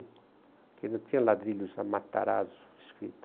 Aqui não tinha ladrilho, só Matarazzo escrito.